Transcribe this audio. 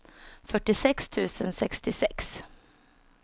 fyrtiosex tusen sextiosex